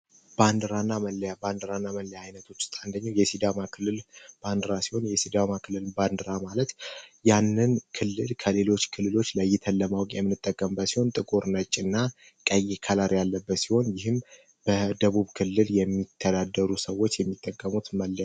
ባንዲራ እና መለያ ባንዲራ እና መለያዎች ውስጥ አንነደኛው የሲዳማ ክልል ባንዲራ ሲሆን የሲዳማ ክልል ባንዲራ ማለት ያንን ክልል ከሌሎች ክልሎች ለይተን ለማወቅ የምንጠቀምበት ሲሆን ጥቁር ፣ነጭ እና ቀይ ቀለም ያለው ሲሆን ይህም በደቡብ ክልል የሚተዳደሩ ሰዎች የሚጠቀሙበት መለያ ነው።